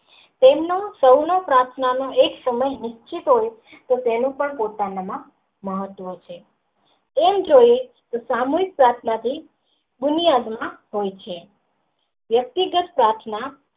તેમનું કણ પ્રાર્થના નું એક નિશ્ચિત તે પહેલી દાન પોતાના માં મહત્વ છે એમ કહી સામે પ્રાર્થના થી દુનિયા દિ માં હોય છે. વ્યક્તિગત પ્રાર્થના.